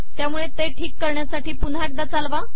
त्यामुळे ते ठीक करण्यासाठी पुन्हा एकदा चालवा